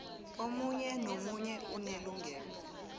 omunye nomunye unelungelo